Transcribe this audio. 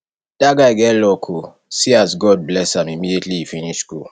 dat guy get luck oo see as god bless am immediately he finish school